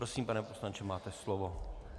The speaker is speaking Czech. Prosím, pane poslanče, máte slovo.